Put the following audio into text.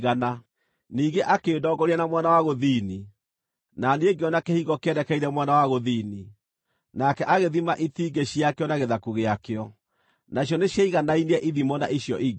Ningĩ akĩndongoria na mwena wa gũthini, na niĩ ngĩona kĩhingo kĩerekeire mwena wa gũthini. Nake agĩthima itingĩ ciakĩo na gĩthaku gĩakĩo, nacio nĩciaiganainie ithimo na icio ingĩ.